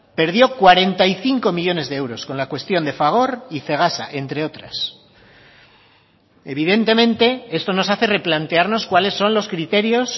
perdió cuarenta y cinco millónes de euros con la cuestión de fagor y cegasa entre otras evidentemente esto nos hace replantearnos cuales son los criterios